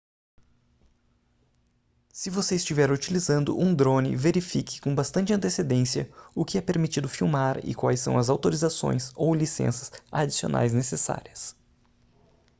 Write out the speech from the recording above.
se você estiver utilizando um drone verifique com bastante antecedência o que é permitido filmar e quais são as autorizações ou licenças adicionais necessárias